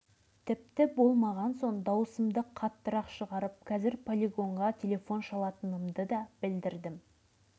тракторға тіркеп сүйрегелі жатқанда мен келіп қалыппын әй жігіттер тоқтаңдар мынау бомба ғой дедім жігіттер бұл